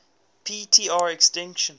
p tr extinction